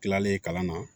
Tilalen kalan na